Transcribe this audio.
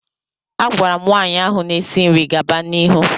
A gwara m nwaanyị ahụ na-esi nri gaba n'ihu.